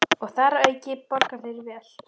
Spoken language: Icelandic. Og þar að auki borga þeir vel.